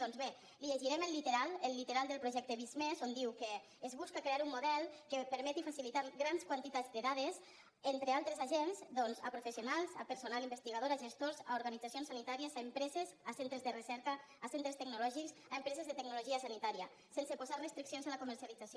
doncs bé li llegirem el literal el literal del projecte visc+ on diu que es busca crear un model que permeti facilitar grans quantitats de dades entre altres agents a professionals a personal investigador a gestors a organitzacions sanitàries a empreses a centres de recerca a centres tecnològics a empreses de tecnologia sanitària sense posar restriccions a la comercialització